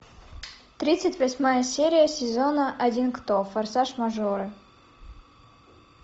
тридцать восьмая серия сезона один кто форсаж мажоры